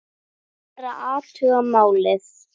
Ég fer og athuga málið.